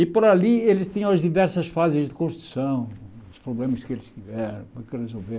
E por ali eles tinham as diversas fases de construção, os problemas que eles tiveram, o que resolver.